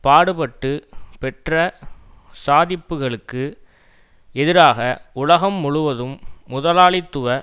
பாடுபட்டு பெற்ற சாதிப்புக்களுக்கு எதிராக உலகம் முழுவதும் முதலாளித்துவ